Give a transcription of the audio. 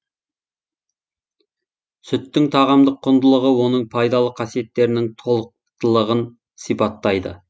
сүттің тағамдық құндылығы оның пайдалы қасиеттерінің толықтылығын сипаттайды